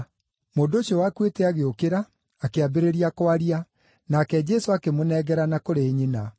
Mũndũ ũcio wakuĩte agĩũkĩra, akĩambĩrĩria kwaria, nake Jesũ akĩmũnengerana kũrĩ nyina.